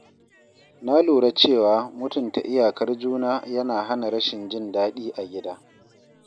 Na lura cewa mutunta iyakar juna yana hana rashin jin daɗi a gida.